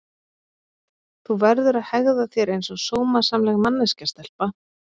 Þú verður að hegða þér einsog sómasamleg manneskja stelpa.